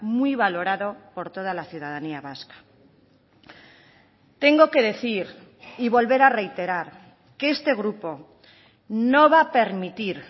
muy valorado por toda la ciudadanía vasca tengo que decir y volver a reiterar que este grupo no va a permitir